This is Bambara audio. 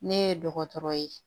Ne ye dɔgɔtɔrɔ ye